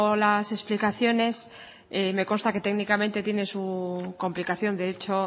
las explicaciones me consta que técnicamente tiene su complicación de hecho